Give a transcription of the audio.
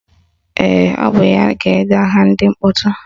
Ee, ọ bụ ya ga-ede aha ndị mkpọtụ